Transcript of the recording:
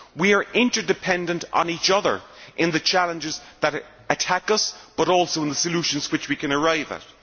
We are interdependent on each other in the challenges that attack us, but also in the solutions which we can arrive at.